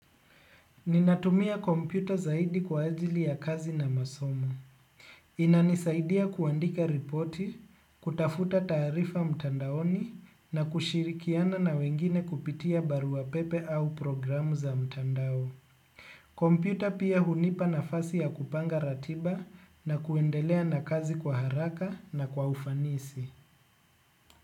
Ninatumia kompyuta zaidi kwa ajili ya kazi na masomo. Inanisaidia kuandika ripoti, kutafuta taarifa mtandaoni na kushirikiana na wengine kupitia barua pepe au programu za mtandao. Kompyuta pia hunipa na fasi ya kupanga ratiba na kuendelea na kazi kwa haraka na kwa ufanisi.